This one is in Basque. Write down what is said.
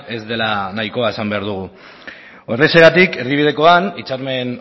ez dela nahikoa esan behar dugu horrexegatik erdibidekoan hitzarmen